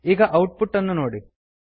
ಈಗ output ಅನ್ನು ನೋಡಿ